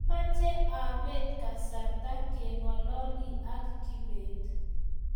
mamche apet kasarta keng'ololi ak kibet